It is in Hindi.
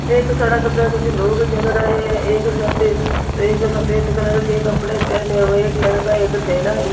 एक सड़क पे कुछ लोग चल रहे हे एक सफेद एक सफेद कलर के कपड़े पहने हुवे एक लड़का एक थैला लि--